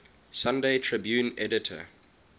sunday tribune editor